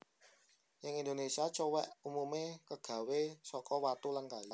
Ing Indonésia cowèk umumé kagawé saka watu lan kayu